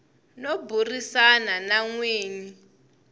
no burisana na n winyi